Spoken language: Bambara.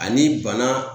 Ani bana